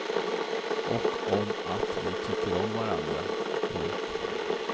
Och om att vi tycker om varandra. punkt